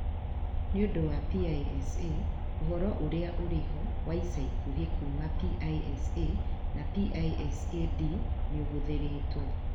Nĩ ũndũ wa PISA, ũhoro ũrĩa ũrĩ ho wa ica ikuhĩ kuuma PISA na PISA-D nĩ ũhũthĩrĩtwo.